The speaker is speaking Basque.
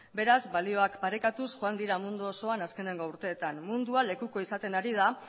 beraz balioak parekatuz joan dira mundu osoan azkeneko urteetan mundua lekuko izaten ari da